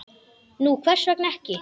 Nú, hvers vegna ekki?